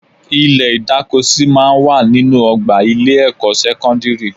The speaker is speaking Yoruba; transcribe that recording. Ilẹ̀ ìdákosí máa ń wà nínú ọgbà ilé-ẹ̀kọ́ sẹ́kọ́ndírì